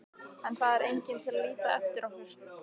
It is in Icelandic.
En það er enginn til að líta eftir okkur.